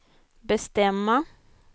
bestämma